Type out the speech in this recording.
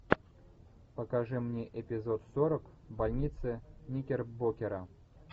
покажи мне эпизод сорок больница никербокера